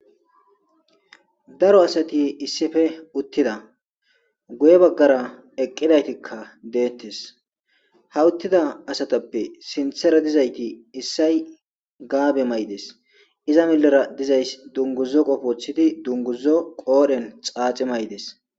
Daro asat issippe utida. Guye bagara eqidaytika detes. Ha utida asatappe sinthera dizayti issay gaabe mayides. Iza milera dizays dunguzo qope wothid dunguzo qodhwn xaaxi mayides.